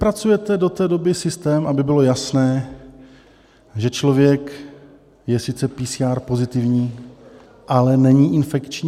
Vypracujete do té doby systém, aby bylo jasné, že člověk je sice PCR pozitivní, ale není infekční?